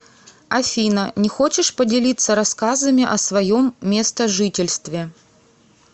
афина не хочешь поделиться рассказами о своем местожительстве